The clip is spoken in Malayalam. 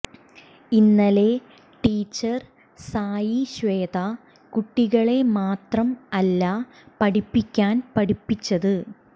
ഇന്നലെ ടീച്ചർ സായി ശ്വേത കുട്ടികളെ മാത്രം അല്ല പഠിക്കാൻ പഠിപ്പിച്ചത്